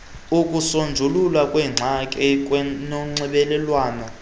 ukusonjululwa kweengxaki kwanonxibelelwano